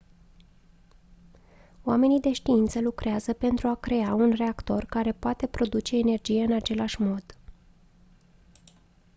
oamenii de știință lucrează pentru a crea un reactor care poate produce energie în același mod